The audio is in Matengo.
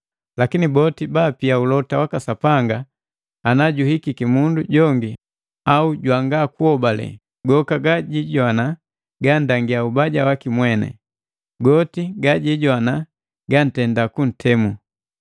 Lakini boti baapia ulota waka Sapanga, najuhikiki mundu jongi au jwangakuhobale, goka gajijowana gandangia ubaja waki mweni, goti gajijowana gantenda kuntemu.